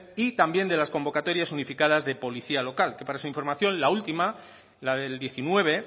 y también de las convocatorias unificadas de policía local que para su información la última la del diecinueve